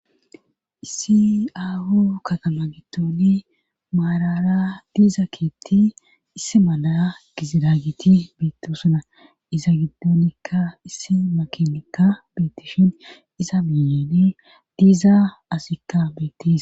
issi aho katama gitooni maarara diiza keetti isse mala giziraagiti biittoosana iza giddoonikka issi makinikka beetishin iza miyeeni diiza asikka beettisi